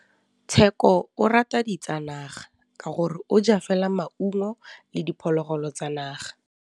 Tshekô o rata ditsanaga ka gore o ja fela maungo le diphologolo tsa naga.